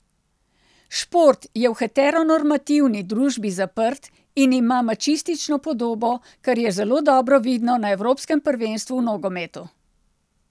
Šport je v heteronormativni družbi zaprt in ima mačistično podobo, kar je zelo dobro vidno na evropskem prvenstvu v nogometu.